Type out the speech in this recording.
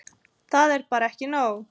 Það er bara ekki nóg.